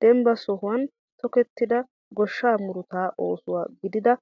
Dembba sohuwan tokettida goshshaa murutaa ooso gidida